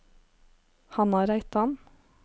Hanna Reitan